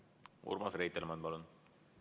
Urmas Reitelmann, palun!